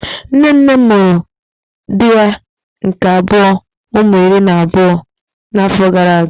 Nne nne m mụrụ di ya nke abuo ụmụ iri na afọ gara aga.